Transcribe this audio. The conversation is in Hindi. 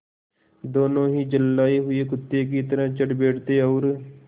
दोनों ही झल्लाये हुए कुत्ते की तरह चढ़ बैठते और